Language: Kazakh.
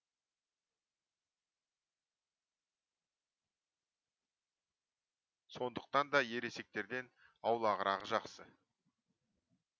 сондықтан да ересектерден аулағырағы жақсы